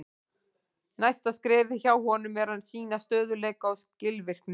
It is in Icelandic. Næsta skrefið hjá honum er að sýna stöðugleika og skilvirkni.